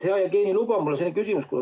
Hea Jevgeni, mul on selline küsimus.